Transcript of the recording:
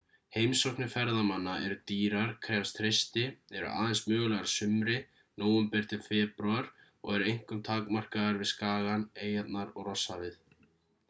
heimsóknir ferðamanna eru dýrar krefjast hreysti eru aðeins mögulegar að sumri nóvember til febrúar og eru einkum takmarkaðar við skagann eyjarnar og rosshafið